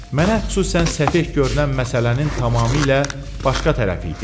Mənə xüsusən səfeh görünən məsələnin tamamilə başqa tərəfi idi.